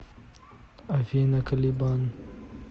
афина калибан